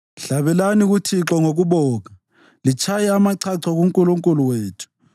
Hlabelani kuThixo ngokubonga; litshaye amachacho kuNkulunkulu wethu.